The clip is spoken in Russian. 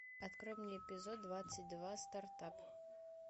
открой мне эпизод двадцать два стартап